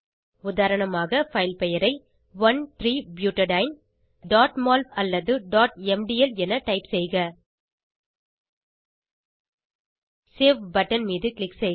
உதாரணமாக பைல் பெயரை 13butadieneமோல் அல்லது mdl என டைப் செய்க சேவ் பட்டன் மீது க்ளிக் செய்க